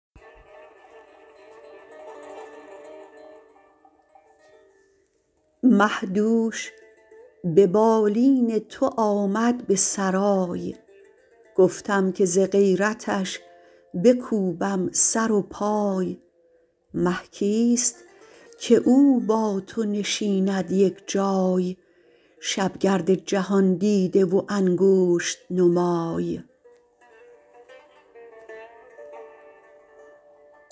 مه دوش به بالین تو آمد به سرای گفتم که ز غیرتش بکوبم سر و پای مه کیست که او با تو نشیند یک جای شب گرد جهان دیده و انگشت نمای